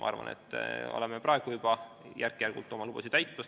Ma arvan, et me oleme praegu juba järk-järgult oma lubadusi täitmas.